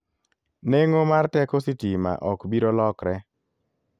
Neng'o mar teko sitima ok biro lokre.